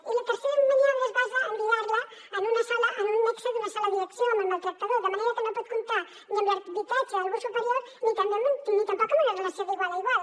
i la tercera maniobra es basa en lligar la en un nexe d’una sola direcció amb el maltractador de manera que no pot comptar ni amb l’arbitratge d’algú superior ni també ni tampoc amb una relació d’igual a igual